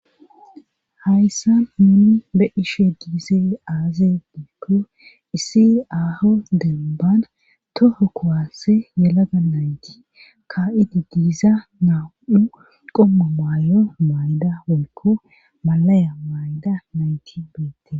Hayssa muuni be ishe diise aaze diikko issi aho demban toho kowasse yalaga nayti ka7idi diiza naa7u qomma maayo mayda wolko malaya mayda nayti beete..